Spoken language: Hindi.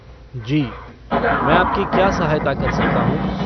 जी, मैं आपकी क्या सहायता कर सकता हूँ?